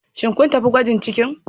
Shin kun tafi gwajin ciki